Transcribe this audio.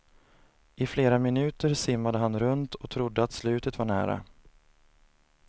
I flera minuter simmade han runt och trodde att slutet var nära.